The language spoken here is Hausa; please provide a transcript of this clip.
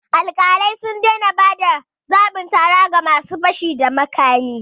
Alƙalai sun daina ba da zabin tara ga ma su fashi da makami